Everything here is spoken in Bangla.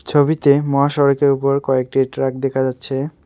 ছবিতে মহাসড়কের ওপর কয়েকটি ট্রাক দেখা যাচ্ছে।